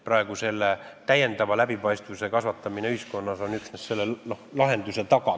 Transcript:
Praegu on ju täiendava läbipaistvuse kasvatamine ühiskonnas üksnes selle lahenduse taga.